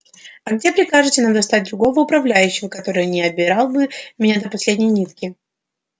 а где прикажете нам достать другого управляющего который не обирал бы меня до последней нитки